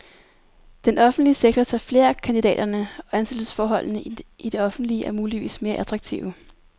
Den offentlige sektor tager flere af kandidaterne, og ansættelsesforholdene i det offentlige er muligvis mere attraktive.